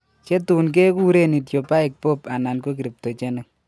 Chotun keguren idiopahic BOOP anan ko cryptogenic